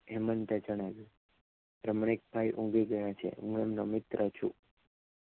હેમંત એ જણાવ્યું રમણીકભાઈ ઊંઘી ગયા છે હું એમનો મિત્ર છું